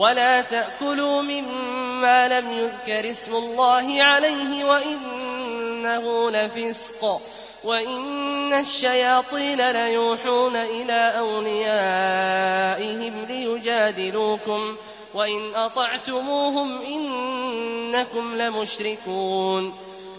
وَلَا تَأْكُلُوا مِمَّا لَمْ يُذْكَرِ اسْمُ اللَّهِ عَلَيْهِ وَإِنَّهُ لَفِسْقٌ ۗ وَإِنَّ الشَّيَاطِينَ لَيُوحُونَ إِلَىٰ أَوْلِيَائِهِمْ لِيُجَادِلُوكُمْ ۖ وَإِنْ أَطَعْتُمُوهُمْ إِنَّكُمْ لَمُشْرِكُونَ